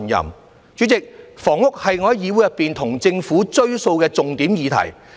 代理主席，房屋是我在議會中向政府"追數"的重點議題。